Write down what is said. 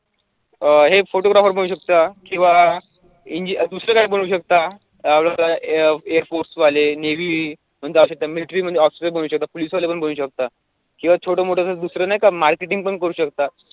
अं हे photographer बनू शकता किंवा दुसरं काही बनू शकता आपलं ते airforce वाले navy म्हणजे असे military मध्ये officer पण बनू शकता police वाले पण बनू शकता किंवा छोटं मोठं असं दुसरं नाही का marketing पण करू शकता.